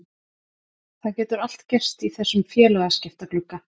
Það getur allt gerst í þessum félagaskiptaglugga.